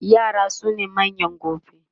yara sune manyan gobe